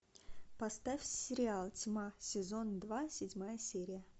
поставь сериал тьма сезон два седьмая серия